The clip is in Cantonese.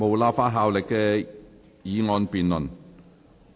無立法效力的議案辯論。